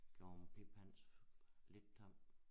Gjort piphans lidt tam